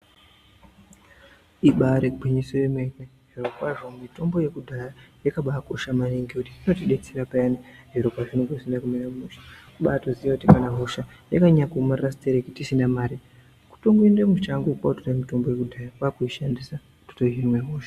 Ibari gwinyiso yemene zvirokwazvo mitombo yekudhaya yakabakosha maningi ngekuti inotidetsera payani zviro pazvinenge zvisina kumira mushe kubatoziya kuti kana hosha yakanyanya kuomarara sitereki tisina mare kutoende mushango kotora mitombo yekudhaya totoishandisa kuhina hosha.